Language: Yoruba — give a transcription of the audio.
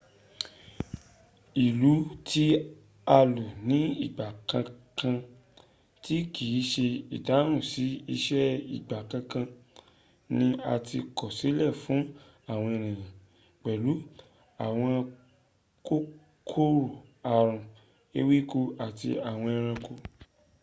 ìlù tí a lù ní ìgbà kànkan tí kìń ṣe ìdáhùn sí ìṣe ìgbà kànkan ní a ti kọsílẹ̀ fún àwọn ènìyàn pẹ̀lú àwọn kòkòrò àrùn ewéko àti àwọn ẹranko